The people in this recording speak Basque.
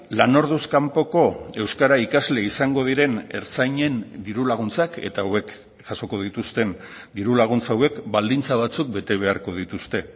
lan orduz kanpoko euskara ikasle izango diren ertzainen diru laguntzak eta hauek jasoko dituzten diru laguntza hauek baldintza batzuk bete beharko dituzte